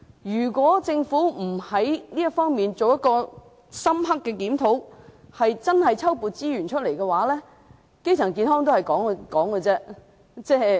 如果政府不就這方面進行深刻檢討，調撥資源，基層醫療健康只是空談。